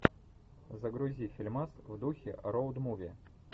загрузи фильмас в духе роуд муви